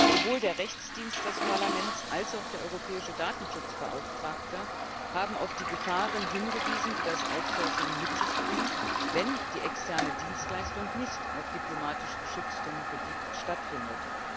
Sowohl der Rechtsdienst des Parlaments als auch der Europäische Datenschutzbeauftragte haben auf die Gefahren hingewiesen, die das outsourcing mit sich bringt, wenn die externe Dienstleistung nicht auf diplomatisch geschütztem Gebiet stattfindet.